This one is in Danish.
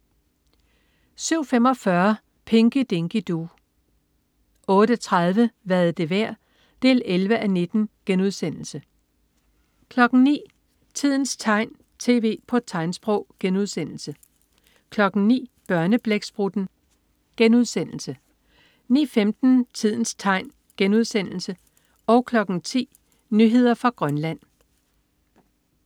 07.45 Pinky Dinky Doo 08.30 Hvad er det værd? 11:19* 09.00 Tidens tegn, tv på tegnsprog* 09.00 Børneblæksprutten* 09.15 Tidens tegn* 10.00 Nyheder fra Grønland